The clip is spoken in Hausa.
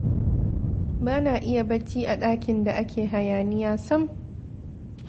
Ba na iya barci a ɗakin da ake hayaniya sam!